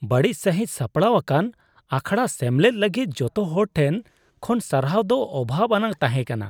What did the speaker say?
ᱵᱟᱹᱲᱤᱡ ᱥᱟᱹᱦᱤᱡ ᱥᱟᱯᱲᱟᱣ ᱟᱠᱟᱱ ᱟᱠᱷᱲᱟ ᱥᱮᱢᱞᱮᱫ ᱞᱟᱹᱜᱤᱫ ᱡᱚᱛᱚ ᱦᱚᱲ ᱴᱷᱮᱱ ᱠᱷᱚᱱ ᱥᱟᱨᱦᱟᱣ ᱫᱚ ᱚᱵᱷᱟᱵᱽ ᱟᱱᱟᱜ ᱛᱟᱦᱮᱸ ᱠᱟᱱᱟ,